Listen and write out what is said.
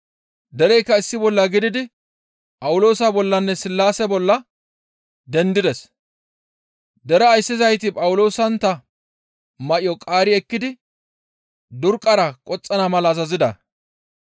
Dereykka issi bolla gididi Phawuloosa bollanne Sillaase bolla dendides; deraa ayssizayti Phawuloosantta may7o qaari ekkidi durqqara qoxxana mala azazida.